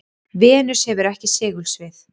venus hefur ekki segulsvið